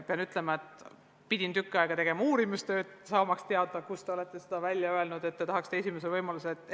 Pean ütlema, et pidin tükk aega uurima, saamaks teada, kus te olete selle välja öelnud, et tahaksite vastuseid esimesel võimalusel.